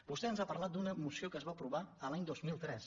vostè ens ha parlat d’una moció que es va aprovar l’any dos mil tres